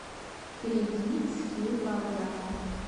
перейди в скилл балда